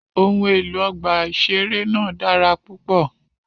Ohun elo ọgba iṣere naa dara pupọ.